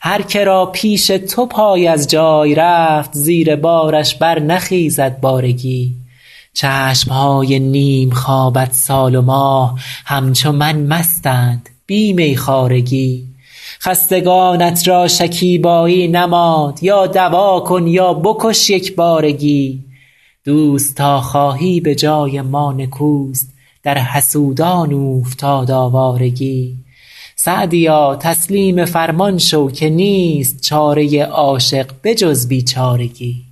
هرکه را پیش تو پای از جای رفت زیر بارش برنخیزد بارگی چشم های نیم خوابت سال و ماه همچو من مستند بی میخوارگی خستگانت را شکیبایی نماند یا دوا کن یا بکش یک بارگی دوست تا خواهی به جای ما نکوست در حسودان اوفتاد آوارگی سعدیا تسلیم فرمان شو که نیست چاره عاشق به جز بیچارگی